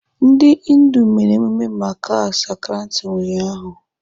Ndị Hindu mere emume Makar Sankranti ụnyaahụ.